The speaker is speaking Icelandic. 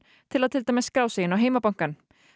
til að til dæmis skrá sig inn á heimabankann